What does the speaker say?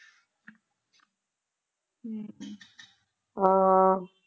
ਹਮ ਹਮ ਹਾਂ